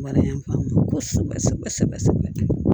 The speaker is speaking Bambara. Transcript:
Mara y'an faamu kosɛbɛ sɛbɛ sɛbɛ sɛbɛ